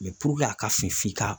a ka fin f'i ka